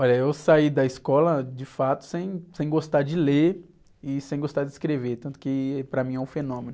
Olha, eu saí da escola de fato sem, sem gostar de ler e sem gostar de escrever, tanto que para mim é um fenômeno.